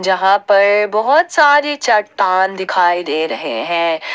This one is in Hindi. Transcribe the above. यहां पर बहुत सारे चट्टान दिखाई दे रहे हैं।